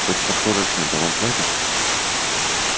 хоть сверхурочные-то вам платят